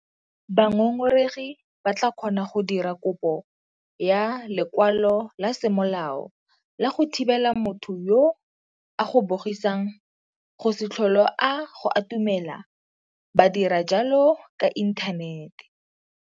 Bangongoregi ba tla kgona go dira kopo ya lekwalo la semolao la go thibela motho yo a go bogisang go se tlhole a go atumela ba dira jalo ka inthanete.